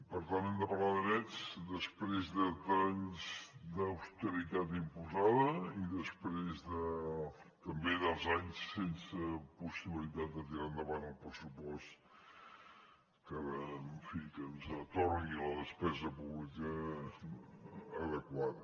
per tant hem de parlar de drets després d’anys d’austeritat imposada i després també dels anys sense possibilitat de tirar endavant el pressupost que ara en fi que ens atorgui la despesa pública adequada